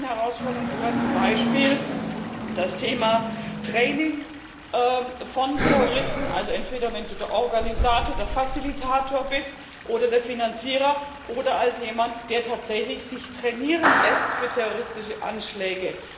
Zu diesen neuen Herausforderungen gehört zum Beispiel das Thema Training von Terroristen, also entweder wenn du der Organisator, der Facilitator bist oder der Finanzierer, oder jemand, der tatsächlich sich trainieren lässt für terroristische Anschläge.